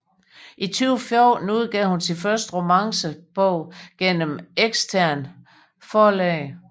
I 2014 udgav hun sin første romance bog gennem eksternt forlag